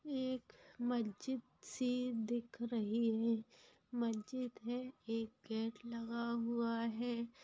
एक मस्जिद सी दिख रही है मस्जिद है एक गेट लगा हुआ है।